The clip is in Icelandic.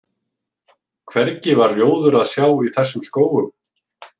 Hvergi var rjóður að sjá í þessum skógum.